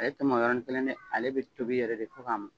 Ale tɛ mɔ yɔrɔnin kelen dɛ, ale bɛ tobi yɛrɛ de fo k'a mɔ.